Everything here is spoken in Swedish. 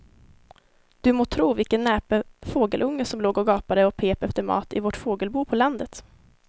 Du må tro vilken näpen fågelunge som låg och gapade och pep efter mat i vårt fågelbo på landet.